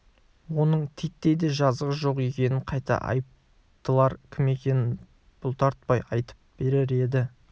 оның титтей де жазығы жоқ екенін қайта айыптылар кім екенін бұлтартпай айтып берер еді